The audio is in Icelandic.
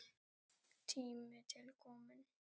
Tími til kominn.